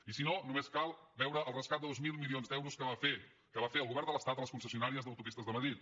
i si no només cal veure el rescat de dos mil milions d’euros que va fer el govern de l’estat a les concessionàries d’autopistes de madrid